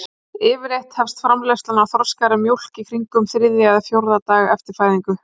Yfirleitt hefst framleiðsla á þroskaðri mjólk í kringum þriðja eða fjórða dag eftir fæðingu.